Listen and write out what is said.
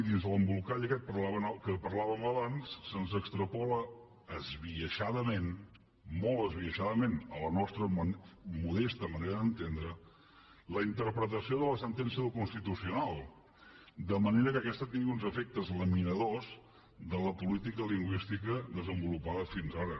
dins l’embolcall aquest de què parlàvem abans se’ns extrapola esbiaixadamentxadament a la nostra modesta manera d’entendre la interpretació de la sentència del constitucional de manera que aquesta tingui uns efectes laminadors de la política lingüística desenvolupada fins ara